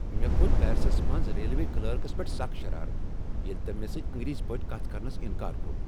مےٚ كھو٘ت پیرسس منٛز ریلوے کلرکس پیٹھ سخ شرارت ییٚلہ تٔمۍ مےٚ سۭتۍ انگریزی پٲٹھۍ کتھ کرنس انکار کوٚر۔